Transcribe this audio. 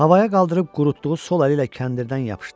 Havaya qaldırıb qurutduğu sol əli ilə kəndirdən yapışdı.